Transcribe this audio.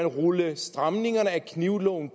rulle stramningerne af knivloven